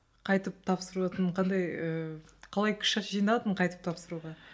қайтып тапсырудың қандай ыыы қалай күшті жинадың қайтып тапсыруға